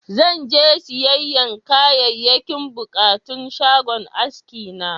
Zan je siyayyan Kayayyakin buƙatun shagon aski na.